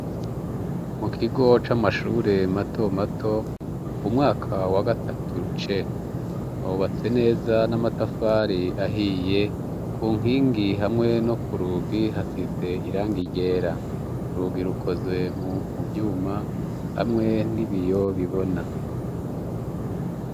Mu kigo c'amashure matomato umwaka wa gatatu C, wubatse neza n'amatafari ahiye ,ku nkingi hamwe no ku rugi hasize irangi ryera. Urugi rukozwe mu uvyuma hamwe n'ibiyo bibona.